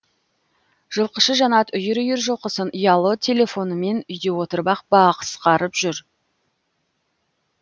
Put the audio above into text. жылқышы жанат үйір үйір жылқысын ұялы телефонымен үйде отырып ақ баақсқарып жүр